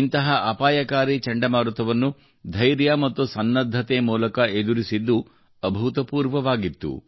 ಇಂತಹ ಅಪಾಯಕಾರಿ ಚಂಡಮಾರುತವನ್ನು ಧೈರ್ಯ ಮತ್ತು ಸನ್ನದ್ಧತೆ ಮೂಲಕ ಎದುರಿಸಿದ್ದು ಅಭೂತಪೂರ್ವವಾಗಿತ್ತು